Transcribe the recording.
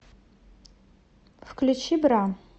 включи бра